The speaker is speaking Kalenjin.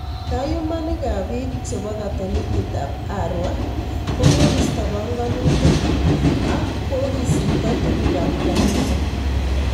Kayuumanikaab biik chebo katolikitaab Arua kokobista banganutik ak kokisipto tukukaab kanis